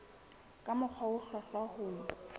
ka mokgwa o hlwahlwa ho